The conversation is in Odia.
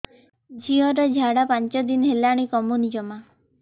ଝିଅର ଝାଡା ପାଞ୍ଚ ଦିନ ହେଲାଣି କମୁନି ଜମା